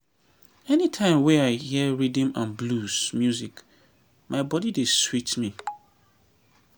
anytime wey i hear rhythm and blues music my body dey sweet me